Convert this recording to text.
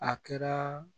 A kɛra